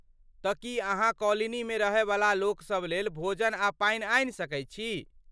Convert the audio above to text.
तँ की अहाँ कॉलोनीमे रहयवला लोकसभ लेल भोजन आ पानि आनि सकैत छी?